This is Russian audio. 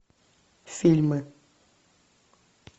фильмы